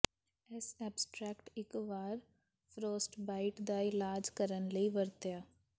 ਇਸ ਐਬਸਟਰੈਕਟ ਇੱਕ ਵਾਰ ਫ਼੍ਰੋਸਟਬਾਈਟ ਦਾ ਇਲਾਜ ਕਰਨ ਲਈ ਵਰਤਿਆ